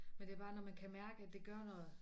Men det bare når man kan mærke at det gør noget